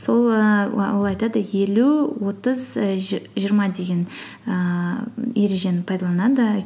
сол ііі ол айтады елу отыз і жиырма деген ііі ережені пайдаланады